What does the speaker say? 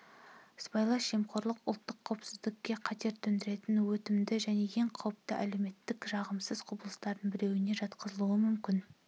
сыбайлас жемқорлық ұлттық қауіпсіздікке қатер төндіретін өтімді және ең қауіпті әлеуметтік жағымсыз құбылыстардың біреуіне жатқызылуы мүмкін